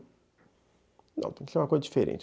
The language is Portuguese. Não, tem que ser uma coisa diferente.